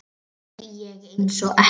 Sekk ég einsog ekkert.